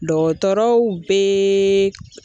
Dɔgɔtɔrɔw bee